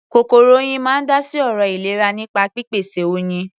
Kòkòrò Oyin máa ń dá sí ọ̀rọ̀ ìlera nípa pípèsè Oyin.